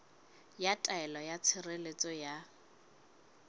ya taelo ya tshireletso ya